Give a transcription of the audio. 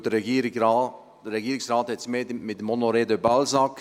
Denn der Regierungsrat hat es mehr mit Honoré de Balzac: